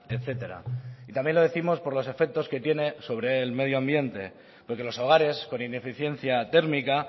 etcétera y también lo décimos por los efectos que tiene sobre el medio ambiente porque los hogares con ineficiencia térmica